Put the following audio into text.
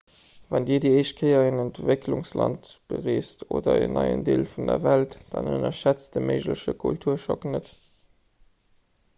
wann dir déi éischt kéier en entwécklungsland bereest oder en neien deel vun der welt dann ënnerschätzt de méigleche kulturschock net